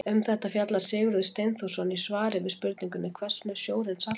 Um þetta fjallar Sigurður Steinþórsson í svari við spurningunni Hvers vegna er sjórinn saltur?